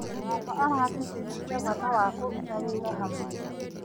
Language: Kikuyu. Baba aratĩtĩrithia bata wa kũruta wĩra hamwe.